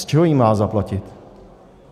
Z čeho ji má zaplatit?